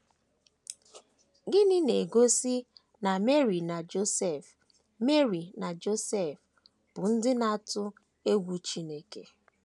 Gịnị na - egosi na Meri na Josef Meri na Josef bụ ndị na - atụ egwu Chineke?